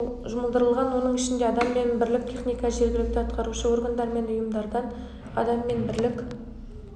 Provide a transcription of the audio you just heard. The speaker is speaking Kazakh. жұмылдырылған оның ішінде адам мен бірлік техника жергілікті атқарушы органдар мен ұйымдардан адам мен бірлік